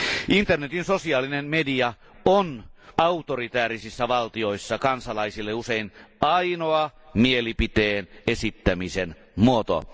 Internetin sosiaalinen media on autoritäärisissä valtioissa kansalaisille usein ainoa mielipiteen esittämisen muoto.